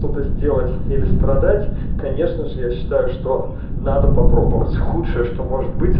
что-то сделать или страдать конечно же я считаю что надо попробовать худшее что может быть